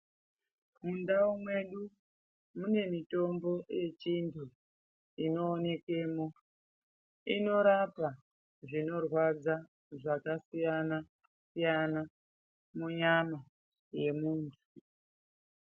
Mundau mwedu mune mitombo yechindu inoonekwemo inorapa zvinorwadza zvakasiyana siyana munyama mwe muntu.